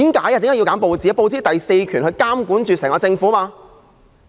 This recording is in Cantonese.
因為報紙代表第四權，負責監察整個政府。